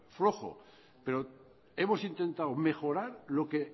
flojo pero hemos intentado mejorar lo que